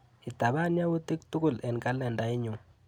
Itapan yautik tukul eng kalendainyu.